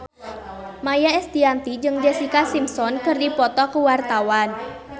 Maia Estianty jeung Jessica Simpson keur dipoto ku wartawan